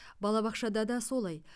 балабақшада да солай